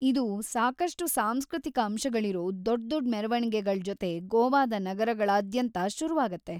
ಇದು ಸಾಕಷ್ಟು ಸಾಂಸ್ಕೃತಿಕ ಅಂಶಗಳಿರೋ ದೊಡ್ದೊಡ್ ಮೆರ್‌ವಣಿಗೆಗಳ್ ಜೊತೆ ಗೋವಾದ ನಗರಗಳಾದ್ಯಂತ ಶುರುವಾಗುತ್ತೆ.